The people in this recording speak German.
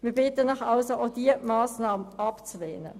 Wir bitten Sie also, auch diese Massnahme abzulehnen.